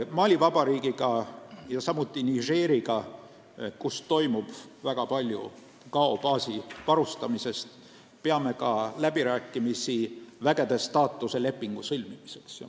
Mali Vabariigiga ja samuti Nigeriga, kellest oleneb väga palju Gao baasi varustamine, peame ka läbirääkimisi vägede staatuse lepingu sõlmimiseks.